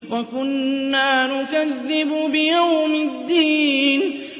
وَكُنَّا نُكَذِّبُ بِيَوْمِ الدِّينِ